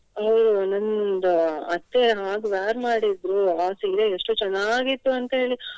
ಅವ್ರು ನಂದು ಅತ್ತೆ ಹಾಗೆ wear ಮಾಡಿದ್ರು ಅವರ ಸೀರೆ ಎಷ್ಟು ಚೆನ್ನಾಗಿತ್ತು ಅಂತ್ಹೇಳಿ.